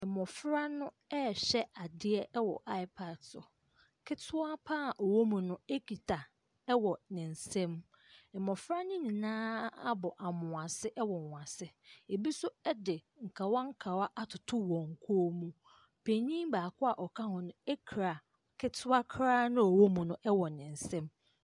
Mmɔfra no ɛrehwɛ adeɛ wɔ iPad so, ketewa pa ara ɔwɔ mu no kita wɔ ne nsa mu. Mmɔfra ne nyinaa abɔ amoase wɔ wɔn ase, bi nso de nkawankawa atoto wɔn kɔn mu. Panin baako a ɔka ho no kura ketewa koraa no a ɔwɔ mu no wɔ ne nsa mu.